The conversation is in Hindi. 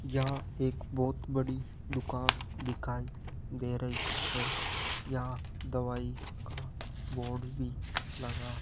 यहां एक बहोत बड़ी दुकान दिखाई दे रही है यहां दवाई का बोर्ड भी लगा --